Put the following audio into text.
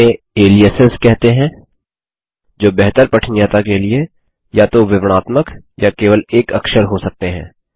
इन्हें ऐलीयसेस कहते हैंजो बेहतर पठनीयता के लिए या तो विवरणात्मक या केवल एक अक्षर हो सकते हैं